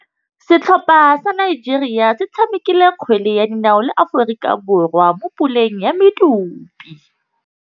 Setlhopha sa Nigeria se tshamekile kgwele ya dinaô le Aforika Borwa mo puleng ya medupe.